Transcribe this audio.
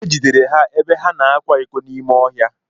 Ejidere ha ebe ha na-akwa iko n'ime ọhịa.